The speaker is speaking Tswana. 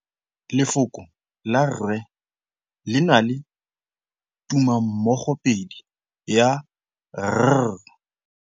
Lefoko la rre le na le tumammogôpedi ya, r.